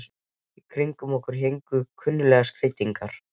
Í kringum okkur héngu kunnuglegar skreytingar.